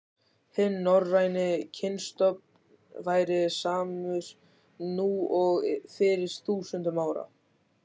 Hinn norræni kynstofn væri samur nú og fyrir þúsundum ára.